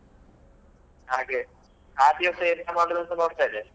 ಹಾಗೆ ಆ ದಿವಸ ಎಂತ ಮಾಡುದು ಅಂತ ನೋಡ್ತ ಇದ್ದೇನೆ.